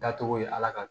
Dacogo ye ala ka